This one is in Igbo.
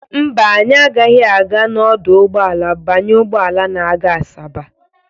Mba, anyị agaghị aga n'ọdụ ụgbọala banye ụgbọala na-aga Asaba.